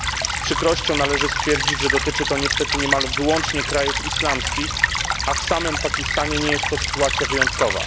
Z przykrością należy stwierdzić, że dotyczy to niestety niemal wyłącznie krajów islamskich, a w samym Pakistanie nie jest to sytuacja wyjątkowa.